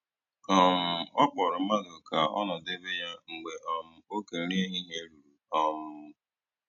um Ọ kpọrọ mmadụ ka ọ nọdebe ya mgbe um oge nri ehihie ruru um